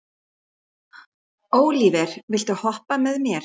Ólíver, viltu hoppa með mér?